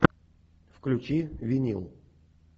включи винил